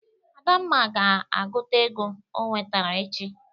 Adamma ga-agụta ego o nwetara echi.